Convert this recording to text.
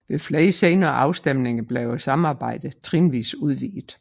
Ved flere senere afstemninger blev samarbejdet trinvis udvidet